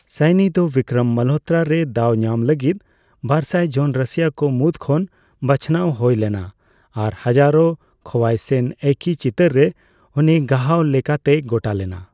ᱥᱟᱭᱱᱤ ᱫᱚ ᱵᱤᱠᱠᱨᱚᱢ ᱢᱟᱞᱦᱳᱛᱛᱨᱟ ᱨᱮ ᱫᱟᱣᱧᱟᱢ ᱞᱟᱹᱜᱤᱫ ᱵᱟᱨᱥᱟᱭ ᱡᱚᱱ ᱨᱟᱹᱥᱤᱭᱟᱹ ᱠᱚ ᱢᱩᱫᱽ ᱠᱷᱚᱱ ᱵᱟᱪᱷᱱᱟᱣ ᱦᱳᱭ ᱞᱮᱱᱟ ᱟᱨ ᱦᱟᱡᱟᱨᱳ ᱠᱷᱳᱣᱟᱭᱥᱮᱱ ᱮᱹᱭᱥᱤ ᱪᱤᱛᱟᱹᱨ ᱨᱮ ᱩᱱᱤ ᱜᱟᱦᱟᱣ ᱞᱮᱠᱟᱛᱮᱭ ᱜᱚᱴᱟ ᱞᱮᱱᱟ ᱾